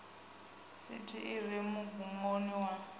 sithi i re mugumoni wa